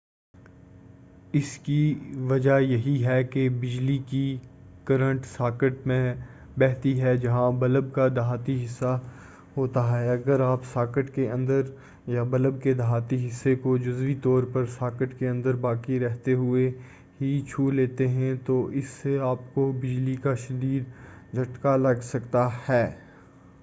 اس کی وجہ یہ ہے کہ بجلی کی کرنٹ ساکٹ میں بہتی ہے جہاں بلب کا دھاتی حصہ ہوتا ہے اگر آپ ساکٹ کے اندر یا بلب کے دھاتی حصے کو جزوی طورپر ساکٹ کے اندر باقی رہتے ہوئے ہی چھولیتے ہیں تو اس سے آپ کو بجلی کا شدید جھٹکا لگ سکتا ہے